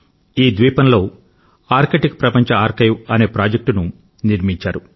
ఈ ద్వీపంలో ఆర్కిటిక్ ప్రపంచ ఆర్కైవ్ అనే ప్రాజెక్ట్ ను నిర్మించారు